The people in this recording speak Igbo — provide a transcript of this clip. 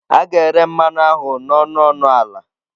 A ga-ere mmanụ ahụ n'ọnụ ọnụ ọnụ ala.